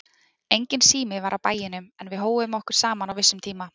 Enginn sími var á bæjunum en við hóuðum okkur saman á vissum tíma.